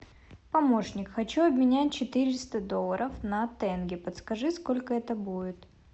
помощник хочу обменять четыреста долларов на тенге подскажи сколько это будет